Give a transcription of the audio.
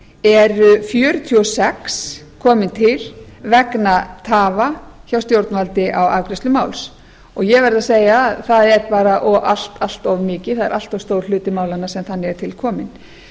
eru fjörutíu og sex komin til vegna tafa hjá stjórnvaldi á afgreiðslu máls og ég verð að segja að það er allt of mikið það er allt of stór hluti málanna sem þannig er til kominn